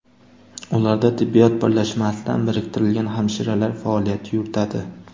Ularda tibbiyot birlashmasidan biriktirilgan hamshiralar faoliyat yuritadi.